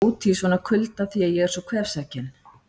Mamma vill ekki að ég sé úti í svona kulda því ég er svo kvefsækinn